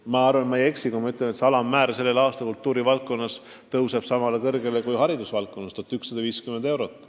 Ma vist ei eksi, kui ma ütlen, et palga alammäär kultuurivaldkonnas tõuseb tänavu sama kõrgele, kui on haridusvaldkonnas: 1150 eurot.